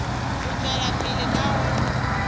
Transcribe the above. go tšwela pele ka go